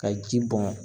Ka ji bɔn